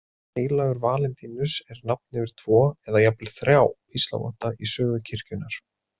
Heilagur Valentínus er nafn yfir tvo, eða jafnvel þrjá, píslarvotta í sögu kirkjunnar.